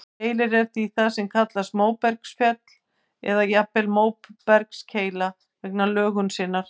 Keilir er því það sem kallast móbergsfell, eða jafnvel móbergskeila vegna lögunar sinnar.